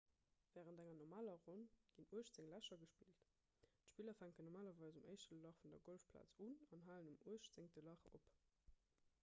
wärend enger normaler ronn ginn uechtzéng lächer gespillt d'spiller fänken normalerweis um éischte lach vun der golfplaz un an halen um uechtzéngte lach op